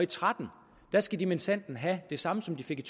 tretten skal de minsandten have det samme som de fik i